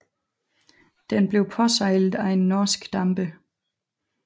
Den blev påsejlet af en norsk damper